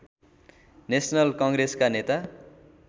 national कङ्ग्रेसका नेता